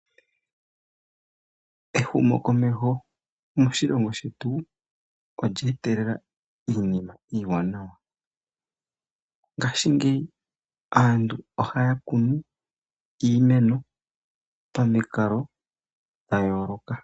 Ehumokomeho moshilongo shetu olye etelela iinima iiwanawa . Ngaashingeyi aantu ohaya kunu iimeno pamikalo dhayooloka.